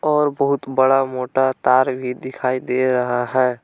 और बहुत बड़ा मोटा तार भी दिखाई दे रहा है।